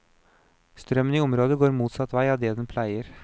Strømmen i området går motsatt vei av det den pleier.